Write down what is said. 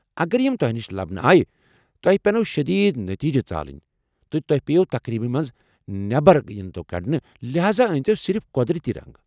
اگر یم تۄہہ نش لبنہٕ آیہ، تۄیہ پٮ۪نوٕ شدیٖد نٔتیٖجہ ژالٕنۍ ، تہٕ توہہِ ییو تقریٖبہ منٛز نٮ۪بر ینتو کٔڈنہٕ ، لحاذا أنۍتو صِرف قۄدرٔتی رنٛگ ۔